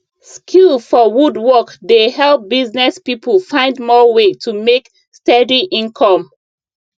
skill for wood work dey help business people find more way to make steady income